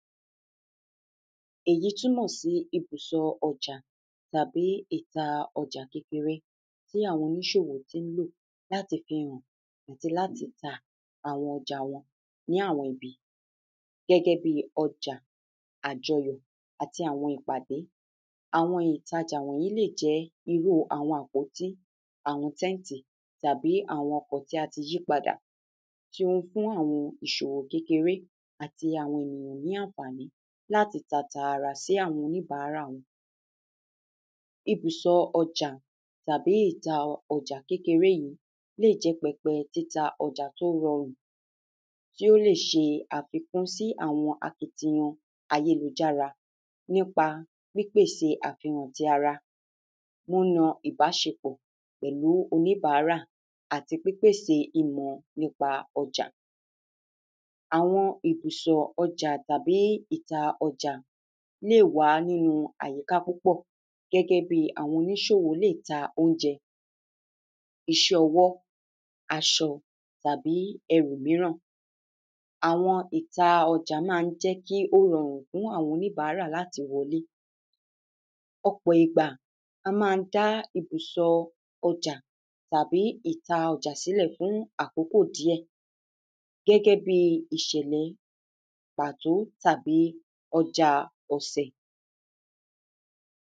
Èyí túmọ̀ sí ibùsọ ọjà tàbí ìta ọjà kékeré tí àwọn oníṣòwò tí ń lò láti fi hàn àti láti ta àwọn ọjà wọn ní àwọn ibi gẹ́gẹ́ bí ọjà àjọwọ̀ àti àwọn ìpàdé. Àwọn ìtaja yíì lè jẹ́ irú àwọn àpòtí àwọn tẹ́ǹtì tàbí àwọn ọkọ̀ tí a ti yípadà tí o fún àwọn ìṣòwò kékeré àti àwọn ènìyàn ní ànfàní láti tàtàrà sí àwọn oníbàárà wọn. Ibùsọ ọjà tàbí ibi ìta ọjà kékeré yẹn lè jẹ́ pẹpẹ títa ọjà tó rọrùn tí ó lè ṣe àfikún sí àwọn akitiyan ayélujára nípa pípèsè àfihànn ti ara múná ìbáṣekpọ̀ pẹ̀lú oníbàrá àti pípèsè ìmọ̀ nípa ọjà. Àwọn ibùsọ ọjà tàbí ìta ọjà lè wá nínú àyìká púpọ̀ gẹ́gẹ́ bí àwọn oníṣòwò lè ta óúnjẹ iṣẹ́ ọwọ́ aṣọ, tàbí ẹrù míràn àwọn ìta ọjà má ń jẹ́ kó rọrùn fún àwọn oníbàrá láti wọlé ọ̀pọ̀ ìgbà a má ń dá àwọn ibùsọ ọjà tàbí ìta ọjà sílẹ̀ fún àkókò díẹ̀ gẹ́gẹ́ bí ìṣẹ̀lẹ̀ pàtó tàbí ojà ọ̀sẹ̀.